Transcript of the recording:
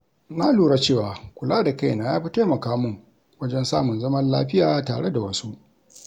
Na lura cewa kula da kaina ya fi taimaka mun wajen samun zaman lafiya tare da wasu.